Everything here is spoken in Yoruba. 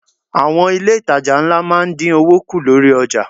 Àwọn ilé itàjà ńlá máa ń dín owó kù lórí ọjà.